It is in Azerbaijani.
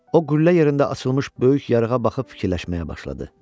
O, qüllə yerində açılmış böyük yarığa baxıb fikirləşməyə başladı.